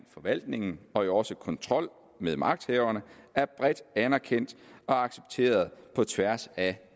forvaltningen og også kontrol med magthaverne er bredt anerkendt og accepteret på tværs af